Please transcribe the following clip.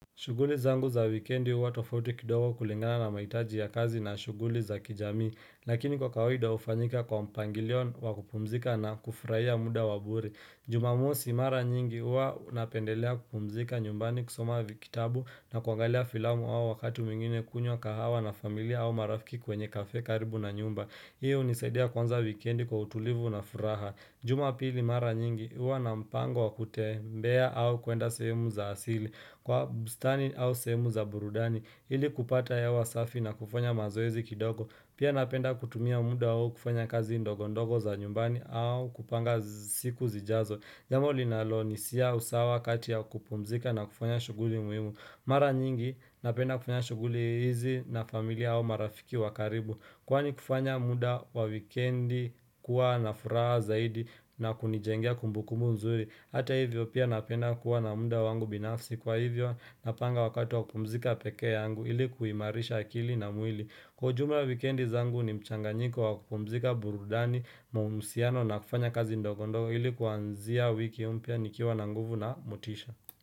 Shuguli zangu za wikendi huwa tofauti kidogo kulingana na mahitaji ya kazi na shuguli za kijamii, lakini kwa kawaida hufanyika kwa mpangilio wa kupumzika na kufurahia muda wa bure Jumamosi mara nyingi huwa napendelea kupumzika nyumbani kusoma kitabu na kuangalia filamu au wakati mwingine kunywa kahawa na familia au marafiki kwenye kafee karibu na nyumba. Hii hunisaidia kuanza wikendi kwa utulivu na furaha. Jumapili mara nyingi, huwa na mpango wakutembea au kwenda sehemu za asili kwa bustani au sehemu za burudani ili kupata hewa safi na kufanya mazoezi kidogo pia napenda kutumia muda huo kufanya kazi ndogo ndogo za nyumbani au kupanga siku zijazo, jambo linalo nisia usawa kati ya kupumzika na kufanya shughuli muhimu Mara nyingi napenda kufanya shughuli hizi na familia au marafiki wa karibu kwani kufanya muda wa wikiendi kuwa na furaha zaidi na kunijingea kumbukumbu nzuri, hata hivyo pia napenda kuwa na muda wangu binafsi kwa hivyo napanga wakati wa kupumzika peke yangu, ili kuimarisha akili na mwili kwa ujumla wikiendi zangu ni mchanganyiko wa kupumzika burudani mahusiano na kufanya kazi ndogo ndogo ili kuanzia wiki mpya nikiwa na nguvu na motisha.